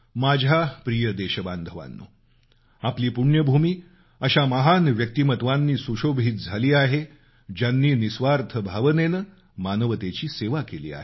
माझ्या प्रिय देशबांधवानो आपली पुण्यभूमी अशा महान व्यक्तिमत्वांनी सुशोभित झाली आहे ज्यांनी निस्वार्थ भावनेनं मानवतेची सेवा केली आहे